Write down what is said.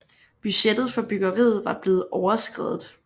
Budgettet for byggeriet var blevet overskredet